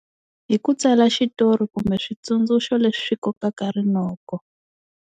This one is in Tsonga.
Hi ku tsala xitori kumbe switsundzuxo leswi kokaka rinoko.